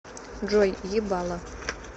джой ебало